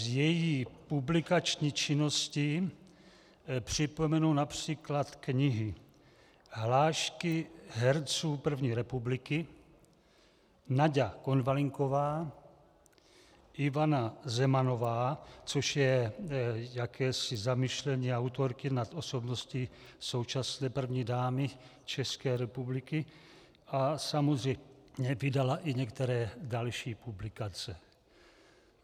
Z její publikační činnosti připomenu například knihy Hlášky herců první republiky, Naďa Konvalinková, Ivana Zemanová, což je jakési zamyšlení autorky nad osobností současné první dámy České republiky, a samozřejmě vydala i některé další publikace.